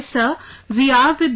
Sir we are with you